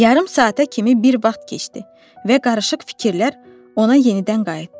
Yarım saata kimi bir vaxt keçdi və qarışıq fikirlər ona yenidən qayıtdı.